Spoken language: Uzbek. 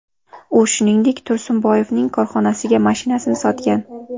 U, shuningdek, Tursunboyevning korxonasiga mashinasini sotgan.